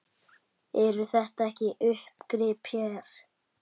Eru þetta ekki uppgrip hér?